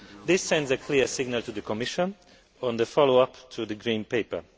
This sends a clear signal to the Commission on the follow up to the Green Paper.